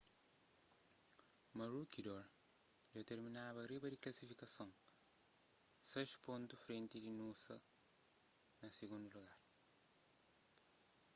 maroochydore dja terminaba riba di klasifikason sais pontu frenti di noosa na sigundu lugar